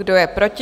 Kdo je proti?